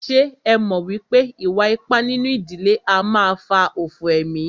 Ṣé ẹ mọ̀ wípé ìwà ipá nínú ìdílé a máà fà òfò emí?